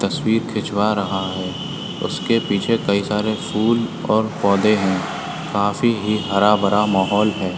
तस्वीर खिचवा रहा है उसके पीछे कई सारे फूल और पौधे हैं काफी ही हरा भरा माहौल है।